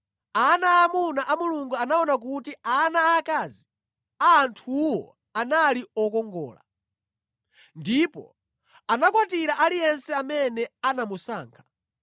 ana aamuna a Mulungu anaona kuti ana aakazi a anthuwo anali okongola. Ndipo anakwatira aliyense amene anamusankha.